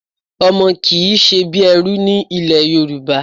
Ọmọ kì í ṣe bí ẹrú ní ilẹ̀ Yorùbá.